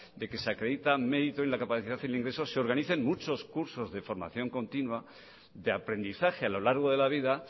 de que se acreditan mérito y la capacidad en el ingreso se organicen muchos cursos de formación continua de aprendizaje a lo largo de la vida